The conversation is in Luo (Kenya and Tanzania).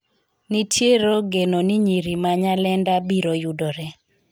nitiero geno ni nyiri ma Nyalenda biro yudore